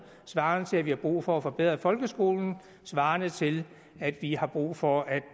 svarende til at vi har brug for at forbedre folkeskolen svarende til at vi har brug for at